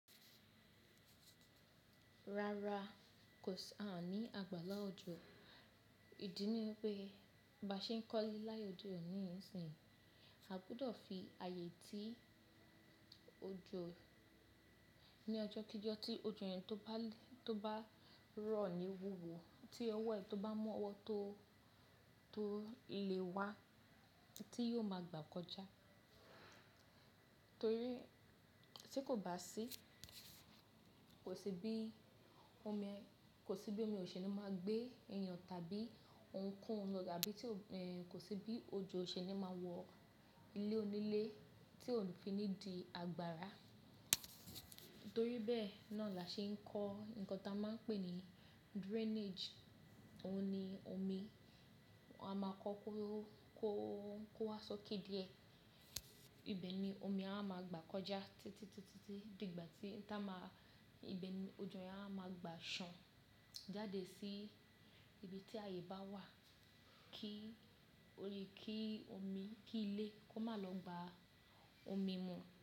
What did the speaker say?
Rara, ko si a ni àgbàlá òjò. Ìdí ni pé ba ṣe ń kọ́lí láyé òde oni sìn, a gbúdọ̀ fi ààyè tí òjò ní ọjọ́ kí jọ tí òjò yẹn tó bá rọ̀ ní wuwu, tí ọwọ́ rẹ̀ tó bá mú ọwọ́ tó lè wá tí yóò máa gbà kọjá. Torí tí kò bá sí, kò sí bí omi òṣènì máa gbé èèyàn tàbí ohunkóhun lọga bí kò sí bí òjò òṣènì máa wọ ilé onílé tí kò fi ní di agbára. Nítorí bẹ́ẹ̀ náà là ṣe ń kọ́ nǹkan tá a máa ń pè ní drainage. Ó ni omi a máa kọ́ kó wá sókè díẹ̀. Ibe ni omi a máa gbà kọjá títí di ìgbà tí ìbẹ ni òjò yẹn a máa gbà sàn jáde sí ibi tí ààyè bá wà kí omi, kí ilé kó máa lọ gba omi mu.